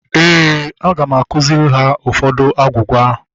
Éè, aga m akụziri ha ụfọdụ agwugwa